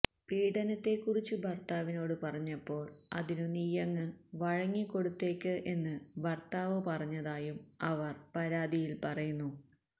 പീഡനത്തെക്കുറിച്ചു ഭര്ത്താവിനോട് പറഞ്ഞപ്പോള് അതിനു നീയങ്ങ് വഴങ്ങിക്കൊടുത്തേക്ക് എന്ന് ഭര്ത്താവ് പറഞ്ഞതായും അവര് പരാതിയില് പറയുന്നു